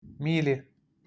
мили